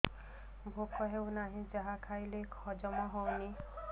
ଭୋକ ହେଉନାହିଁ ଯାହା ଖାଇଲେ ହଜମ ହଉନି